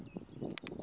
wo siya nhlana